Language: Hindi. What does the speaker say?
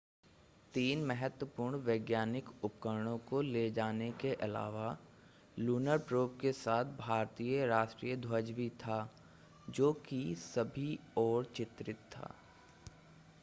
तीन महत्वपूर्ण वैज्ञानिक उपकरणों को ले जाने के अलावा लूनर प्रोब के साथ भारतीय राष्ट्रीय ध्वज भी था जो कि सभी और चित्रित था